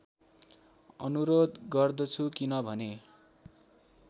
अनुरोध गर्दछु किनभने